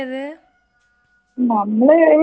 നമ്മള് ഇവിടുന്ന് ബൈക്കിലന്നെ പോയത്.